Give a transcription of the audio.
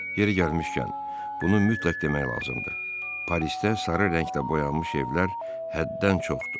Yeri gəlmişkən, bunu mütləq demək lazımdır, Parisdə sarı rənglə boyanmış evlər həddən çoxdur.